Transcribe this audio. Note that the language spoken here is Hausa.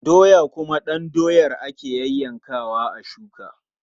Doya kuwa ɗan doyar ake yayyankawa a shuka.